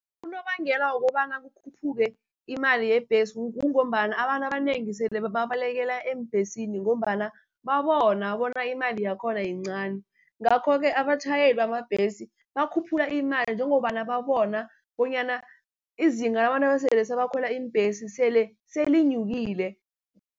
Unobangela wokobana kukhuphuke imali yebhesi, kungombana abantu abanengi sele babalekela eembhesini, ngombana babona bona imali yakhona yincani. Ngakho-ke abatjhayeli bamabhesi bakhuphula imali njengobana babona bonyana izinga labantu abesele sebakhwela iimbhesi sele selinyukile.